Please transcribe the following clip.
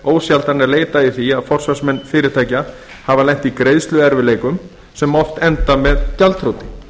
ósjaldan leitað í því að forsvarsmenn fyrirtækja hafa lent í greiðsluerfiðleikum sem oft enda með gjaldþroti